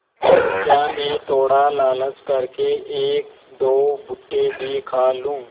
क्या मैं थोड़ा लालच कर के एकदो भुट्टे भी खा लूँ